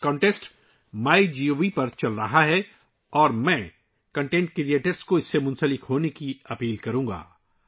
یہ مقابلہ MyGov پر چل رہا ہے اور میں مواد تخلیق کرنے والوں سے ، اس میں شامل ہونے کی درخواست کروں گا